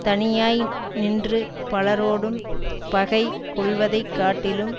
தனியனாய் நின்று பலரோடும் பகை கொள்வதை காட்டிலும்